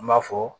An b'a fɔ